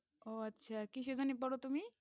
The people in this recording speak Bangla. ওহ আচ্ছা কিসে ঘনি পড়ো তুমি